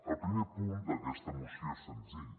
el primer punt d’aquesta moció és senzill